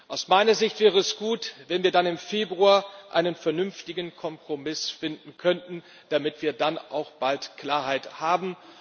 Aus meiner Sicht wäre es gut, wenn wir dann im Februar einen vernünftigen Kompromiss finden könnten, damit wir dann auch bald Klarheit haben.